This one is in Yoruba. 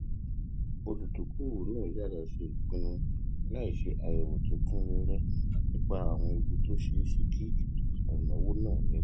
olùdókòwò náà yára ṣe ìpinnu láìṣe àyèwò tó kún réré nípa àwọn ewu tó ṣeé ṣe kí ìnáwó náà ní